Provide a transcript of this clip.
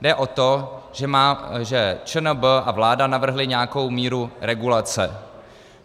Jde o to, že ČNB a vláda navrhly nějakou míru regulace.